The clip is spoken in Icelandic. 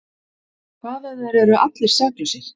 Hvað ef þeir eru allir saklausir?